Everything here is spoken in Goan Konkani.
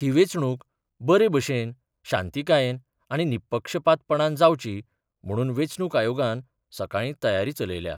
ही वेंचणूक बरे भशेन, शांतीकायेन आनी निपक्षपातीपणान जावची म्हणून वेंचणूक आयोगान सकाळीं तयारी चलयल्या.